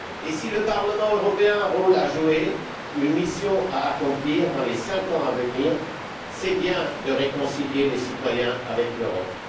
Si le Parlement européen a un rôle à jouer, une mission à accomplir, dans les cinq ans à venir, c'est bien de réconcilier les citoyens avec l'Europe.